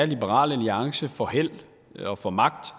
liberal alliance får held og får magt